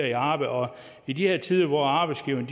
i arbejde og i de her tider hvor arbejdsgiverne